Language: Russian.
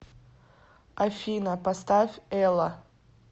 афина поставь элла